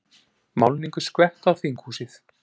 Málningu skvett á þinghúsið